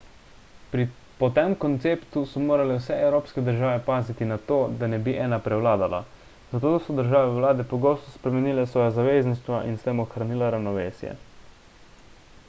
po tem konceptu so morale vse evropske države paziti na to da ne bi ena prevladala zato so državne vlade pogosto spremenile svoja zavezništva in s tem ohranila ravnovesje